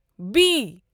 B